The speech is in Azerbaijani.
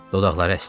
Dodaqları əsdi.